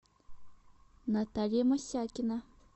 наталья мосякина